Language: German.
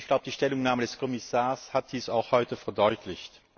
Und ich glaube, die Stellungnahme des Kommissars hat dies auch heute verdeutlicht.